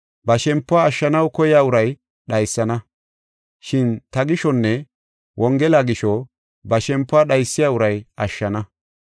Ba shempuwa ashshanaw koyiya uray dhaysana. Shin ta gishonne Wongela gisho ba shempuwa dhaysiya uray ashshana.